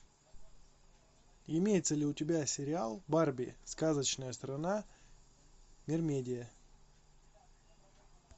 имеется ли у тебя сериал барби сказочная страна мермедия